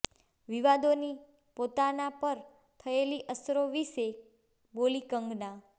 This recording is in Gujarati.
વિવાદોની પોતાના પર થયેલી અસરો વિશે બોલી કંગના